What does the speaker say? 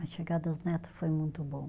A chegada dos neto foi muito bom.